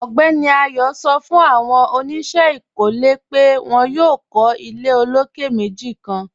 Ọgbẹ́ni Ayọ̀ sọ̀ fún awọn oníṣẹ ikọ́lẹ̀ pẹ̀ wọn yóò kọ̀ ilẹ̀ òlókè̀ mẹ́jì kan.